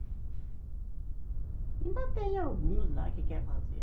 Ainda tem alguns lá que quer fazer.